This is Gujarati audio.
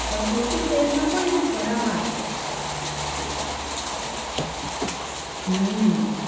પણ ચોથી ફેઇલ માં પણ કરામત હમ્મ